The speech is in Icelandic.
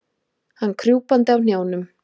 Hann krjúpandi á hnjánum.